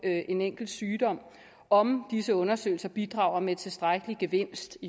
af en enkelt sygdom om disse undersøgelser bidrager med tilstrækkelig gevinst